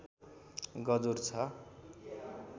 गजुर छ